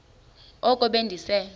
oko be ndise